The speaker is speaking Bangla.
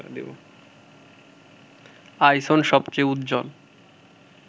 আইসন সবচেয়ে উজ্জ্বল